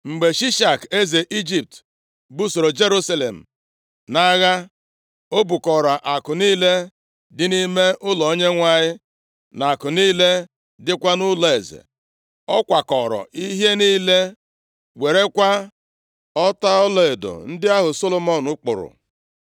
Mgbe Shishak eze Ijipt busoro Jerusalem nʼagha; o bukọrọ akụ niile dị nʼime ụlọ Onyenwe anyị, na akụ niile dịkwa nʼụlọeze. Ọ kwakọọrọ ihe niile, werekwa ọta ọlaedo ndị ahụ Solomọn kpụrụ.